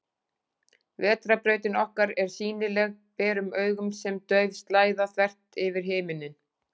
Vetrarbrautin okkar er sýnileg berum augum sem dauf slæða, þvert yfir himinninn.